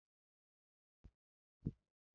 ọrịa akuru anaghị efe efe